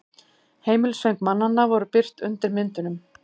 Heimilisföng mannanna voru birt undir myndunum